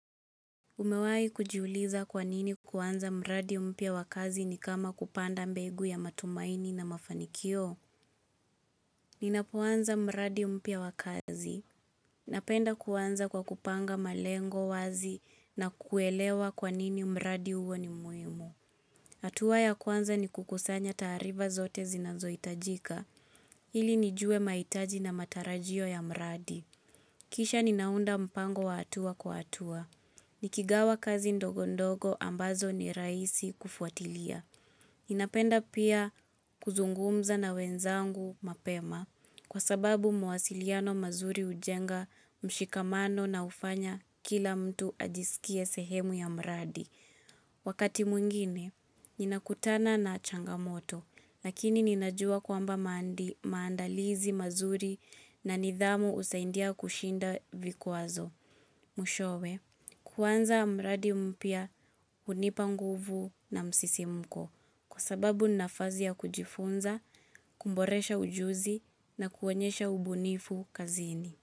Umewahi kujiuliza kwanini kuanza mradi mpya wakazi ni kama kupanda mbegu ya matumaini na mafanikio? Ninapoanza mradi mpya wakazi. Napenda kuanza kwa kupanga malengo wazi na kuelewa kwanini mradi huo ni muhimu. Hatua ya kwanza ni kukusanya taarifa zote zinazohitajika. Ili nijue mahitaji na matarajio ya mradi. Kisha ninaunda mpango wa hatua kwa hatua. Nikigawa kazi ndogo ndogo ambazo ni rahisi kufuatilia. Ninapenda pia kuzungumza na wenzangu mapema kwa sababu mawasiliano mazuri hujenga mshikamano na hufanya kila mtu ajisikie sehemu ya mradi. Wakati mwingine, ninakutana na changamoto lakini ninajua kwamba maandalizi mazuri na nidhamu usaidia kushinda vikwazo. Mwishowe, kuanza mradi mpya hunipanguvu na msisimko kwa sababu nafasi ya kujifunza, kuboresha ujuzi na kuonyesha ubunifu kazini.